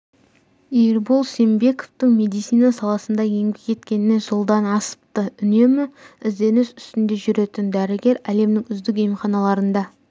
ербол сембековтың медицина саласында еңбек еткеніне жылдан асыпты үнемі ізденіс үстінде жүретін дәрігер әлемнің үздік емханаларында